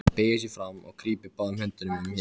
Hann beygir sig fram og grípur báðum höndum um hnén.